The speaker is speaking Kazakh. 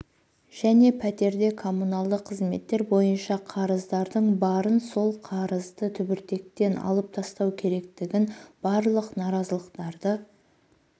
және пәтерде коммуналдық қызметтер бойынша қарыздардың барын сол қарызды түбіртектен алып тастау керектігін барлық наразылықтарды